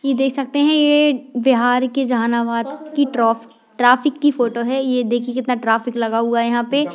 ये देख सकते है ये बिहार के जहानाबाद की ट्रॉ ट्रैफिक की फोटो है ये देखिए कितना ट्रैफिक लगा हुआ है यहाँ पे।